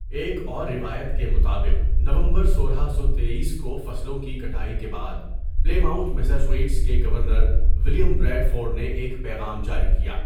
ایک اور روایت کے مطابق نومبر سولہ سو تٮٔیس کو فصلوں کی کٹائی کے بعد پلےمؤتھ میساچوٹیس کے گورنر ولیم بریڈفورڈ نے ایک پیغام جاری کیا.